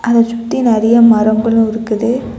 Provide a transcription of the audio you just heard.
அத சுத்தி நறைய மரங்களும் இருக்குது.